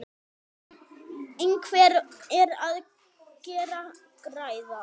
En hver er að græða?